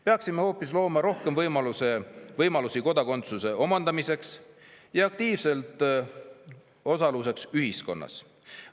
Peaksime hoopis looma rohkem võimalusi kodakondsuse omandamiseks ja aktiivseks osaluseks ühiskonnas.